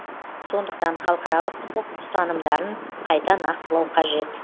сондықтан халықаралық құқық ұстанымдарын қайта нақтылау қажет